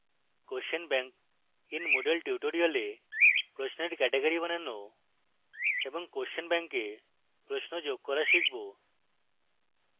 question bank in moodle tutorial প্রশ্নের category বানানো এবং question bank we প্রশ্ন যোগ করা শিখব